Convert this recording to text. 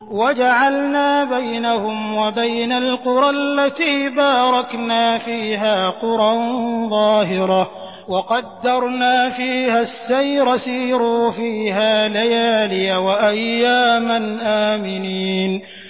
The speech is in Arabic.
وَجَعَلْنَا بَيْنَهُمْ وَبَيْنَ الْقُرَى الَّتِي بَارَكْنَا فِيهَا قُرًى ظَاهِرَةً وَقَدَّرْنَا فِيهَا السَّيْرَ ۖ سِيرُوا فِيهَا لَيَالِيَ وَأَيَّامًا آمِنِينَ